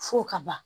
Fo ka ban